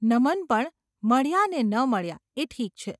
નમન પણ મળ્યાં ને ન મળ્યાં એ ઠીક છે.